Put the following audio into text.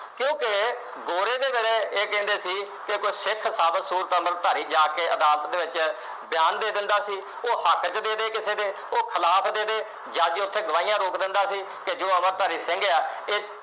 ਇਹ ਕਹਿੰਦੇ ਸੀ ਕੋਈ ਸਿੱਖ ਸਾਬਤ ਸੂਰਤ ਅੰਮ੍ਰਿਤਧਾਰੀ ਜਾ ਕੇ ਅਦਾਲਤ ਦੇ ਵਿਚ ਬਿਆਨ ਦੇ ਦਿੰਦਾ ਸੀ ਉਹ ਹੱਕ ਦੇ ਵਿਚ ਦੇ ਦੇ ਕਿਸੇ ਦੇ ਉਹ ਖਿਲਾਫ ਦੇ ਦੇ ਜਾ ਕੇ ਉਥੇ ਗਵਾਹੀਆਂ ਰੋਕ ਦਿੰਦਾ ਸੀ ਕਿ ਜੋ ਅੰਮ੍ਰਿਤਧਾਰੀ ਸਿੰਘ ਆ ਇਹ